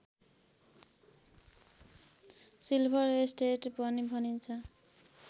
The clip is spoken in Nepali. सिल्भर स्टेट पनि भनिन्छ